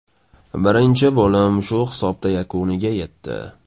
Birinchi bo‘lim shu hisobda yakuniga yetdi.